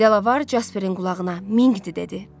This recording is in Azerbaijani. Delavar Jasperin qulağına Minqdi dedi.